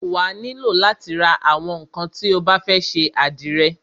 Wà á nílò látí ra àwọn ńnkan tí o bá fẹ́ ṣe àdìrẹ.